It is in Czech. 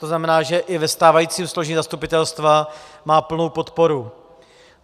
To znamená, že i ve stávajícím složení zastupitelstva má plnou podporu.